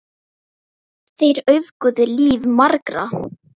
Þeir auðguðu líf margra.